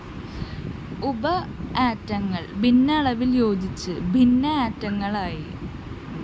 ഉപ ആറ്റങ്ങള്‍ ഭിന്ന അളവില്‍ യോജിച്ച് ഭിന്ന ആറ്റങ്ങളായി